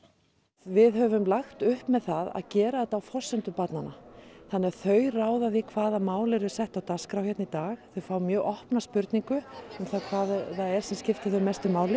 við höfum lagt upp með það að gera þetta á forsendum barnanna þannig að þau ráða því hvaða mál eru sett á dagskrá hér í dag þau fá mjög opna spurningu um það hvað það er sem skiptir þau mestu máli